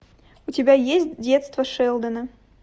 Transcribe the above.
у тебя есть детство шелдона